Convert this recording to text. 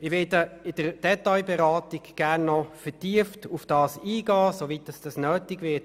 Ich werde in der Detailberatung gerne noch vertieft darauf eingehen, soweit es nötig ist.